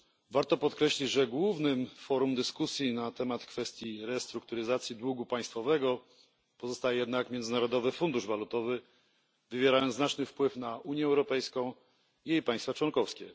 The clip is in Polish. Warto podkreślić, że głównym forum dyskusji na temat restrukturyzacji długu państwowego pozostaje jednak Międzynarodowy Fundusz Walutowy, który wywiera znaczny wpływ na Unię Europejską i jej państwa członkowskie.